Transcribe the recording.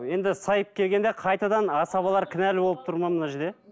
енді сайып келгенде қайтадан асабалар кінәлі болып тұр ма мына жерде